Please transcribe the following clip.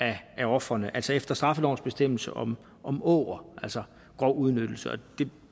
af ofrene altså efter straffelovens bestemmelse om om åger altså grov udnyttelse det er